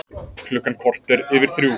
Klukkan korter yfir þrjú